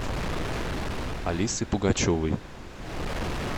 алисы пугачевой